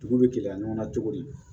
Dugu bɛ gɛlɛya ɲɔgɔn na cogo di